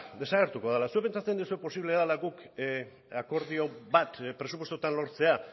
desagertuko dela zuek pentsatzen duzue posible dela guk akordio bat presupuestotan lortzea